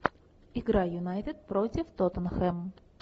игра юнайтед против тотенхэм